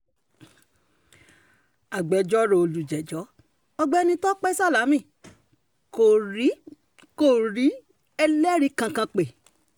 agbẹjọ́rò olùjẹ́jọ́ ọ̀gbẹ́ni tọ́pẹ́ sálámí kò rí kò rí ẹlẹ́rìí kankan pé